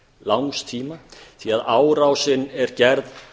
langs tíma því að árásin er gerð